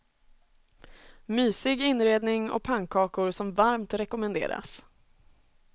Mysig inredning och pannkakor som varmt rekommenderas.